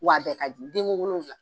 Wa a bɛɛ ka di denko wolonfila